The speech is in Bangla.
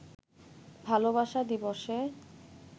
ভালোবাসা দিবসে